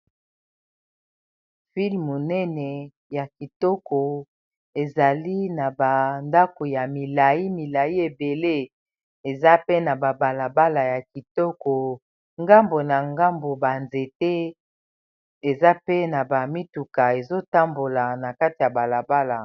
Fil munene ya kitoko ezali na bandako ya milayi milayi ebele eza pe na babalabala ya kitoko ngambo na ngambo ba nzete eza pe na ba mituka ezotambola na kati ya balabala.